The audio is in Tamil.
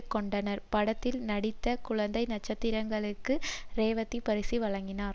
கொண்டனர் படத்தில் நடித்த குழந்தை நட்சத்திரங்களுக்கு ரேவதி பரிசு வழங்கினார்